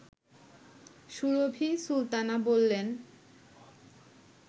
সুরভী সুলতানা বললেন